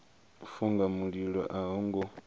funga mililo a ho ngo